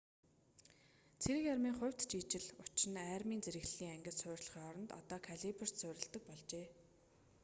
цэрэг армийн хувьд ч ижил учир нь армийн зэрэглэлийг ангид суурилахын оронд одоо калиберт суурилдаг болжээ